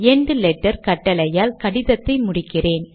end letter கட்டளையால் கடிதத்தை முடிக்கிறேன்